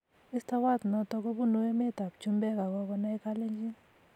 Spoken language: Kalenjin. Mestowot noto kobunu emet ab chumbek ak kokonai kalenjin